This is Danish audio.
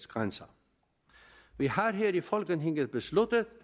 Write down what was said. grænser vi har her i folketinget besluttet